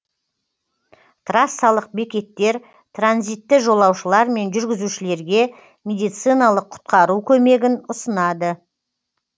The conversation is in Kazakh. трассалық бекеттер транзитті жолаушылар мен жүргізушілерге медициналық құтқару көмегін ұсынады